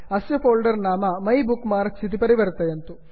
अस्य फोल्डर् नाम my bookmarks my bookmarks इति परिवर्तयन्तु